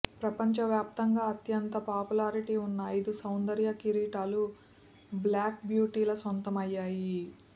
ప్రపంచ వ్యాప్తంగా అత్యంత పాపులారిటీ ఉన్న అయిదు సౌందర్య కిరీటాలూ బ్లాక్ బ్యూటీల సొంతమయ్యాయి